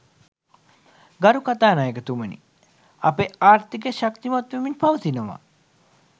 ගරු කථානායකතුමනි අපේ ආර්ථිකය ශක්තිමත් වෙමින් පවතිනවා.